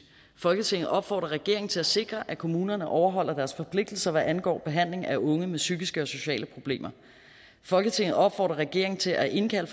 folketinget opfordrer regeringen til at sikre at kommunerne overholder deres forpligtelser hvad angår behandling af unge med psykiske og sociale problemer folketinget opfordrer regeringen til at indkalde